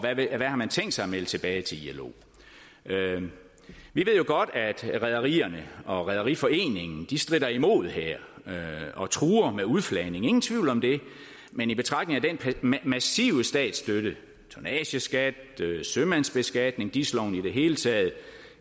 hvad har man tænkt sig at melde tilbage til ilo vi ved jo godt at rederierne og rederiforeningen stritter imod her og truer med udflagning ingen tvivl om det men i betragtning af den massive statsstøtte tonnageskat sømandsbeskatning dis loven i det hele taget